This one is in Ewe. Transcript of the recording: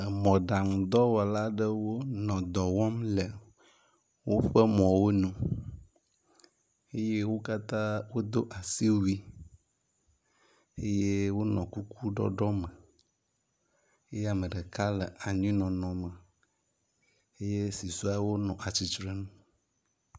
Emɔɖaŋudɔwɔla aɖeo nɔ dɔ wɔm le woƒe mɔwo ŋu eye wo katã wodo asi wui eye wonɔ kuku ɖɔɖɔ me eye ame ɖeka le anyinɔnɔ me eye susɔewo nɔ atsitre nu.